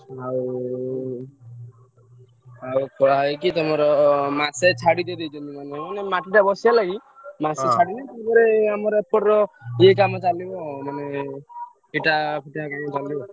ଆଉ ତମର ମାସେ ଛାଡିକି ଦେଇଛନ୍ତି ।